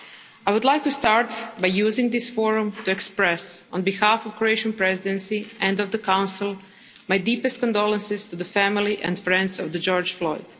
I would like to start by using this forum to express, on behalf of the Croatian Presidency and of the Council, my deepest condolences to the family and friends of George Floyd.